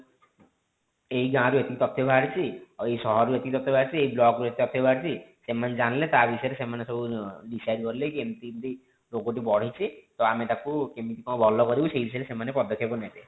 ଏଇ ଗାଁ ରୁ ଏତିକି ତଥ୍ୟ ବାହାରିଛି ଆଉ ଏଇ ସହରକରୁ ଏତିକି ତଥ୍ୟ ବାହାରିଛି ଆଉ ଏଇ block ରୁ ଏତିକି ତଥ୍ୟ ବାହାରିଛି ସେମାନେ ଜାଣିଲେ ତା ବିଷୟରେ ସେମାନେ ସବୁ decide କଲେ କି ଏମିତି ଏମିତି ରୋଗ ଟି ବଢିଛି ତ ଆମେ ତାକୁ କେମିତି କଣ ଭଲ କରିବୁ ସେଇ ବିଷୟରେ ସେମାନେ ପଦକ୍ଷେପ ନେବେ।